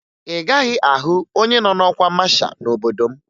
Ị gaghị ahụ onye nọ n'ọkwa masha n'obodo m